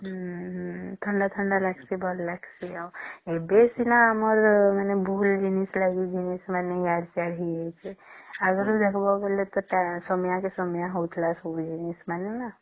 ହଁ ହମ୍ମ ଥଣ୍ଡା ଥଣ୍ଡା ଲାଗୁଛେ ଏବେ ସିନା ଆମର ଭୁଲ ଜିନିଷ ଟା ହେଇ ଯାଇଛେ ଆଗରୁ ଦେଖିବା ବୋଲେ ସମୟ କେ ସମୟ ହଉଥିଲା ସବୁ ଜିନିଷ ମାନେ ନ